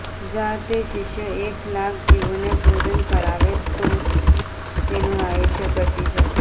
જા તે શિષ્ય એક લાખ જીવોને ભોજન કરાવે તો જ તેનું આયુષ્ય બચી શકે